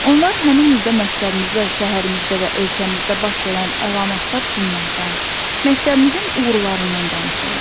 Onlar həmin ildə məktəbimizdə, şəhərimizdə və ölkəmizdə baş verən əlamətdar günlərdən, məktəbimizin uğurlarından danışırlar.